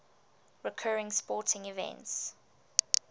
recurring sporting events